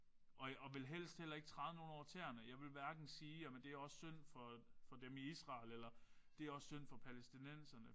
Og og vil helst heller ikke træde nogen over tæerne. Jeg vil hverken sige jamen det er også synd for for dem i Israel eller det er også synd for palæstinenserne